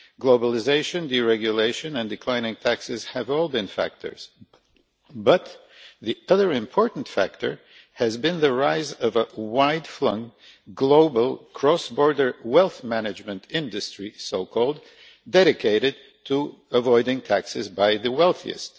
Globalisation, deregulation and declining taxes have all been factors, but the other important factor has been the rise of a far flung, global, cross border wealth management industry so called dedicated to avoiding taxation of the wealthiest.